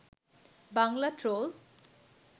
Bangla troll